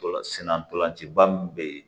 Ntolan sen na ntolanciba min bɛ yen